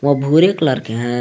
वह भूरे कलर के है।